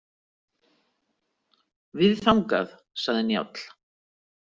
Við þangað, sagði Njáll.